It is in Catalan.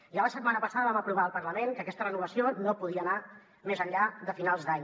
ja la setmana passada vam aprovar al parlament que aquesta renovació no podia anar més enllà de finals d’any